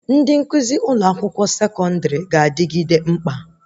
Ndị nkụzi ụlọ akwụkwọ sekọndrị ga-adịgide mkpa